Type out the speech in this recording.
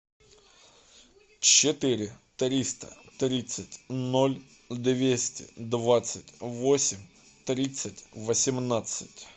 четыре триста тридцать ноль двести двадцать восемь тридцать восемнадцать